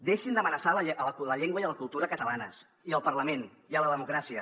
deixin d’amenaçar la llengua i la cultura catalanes i el parlament i la democràcia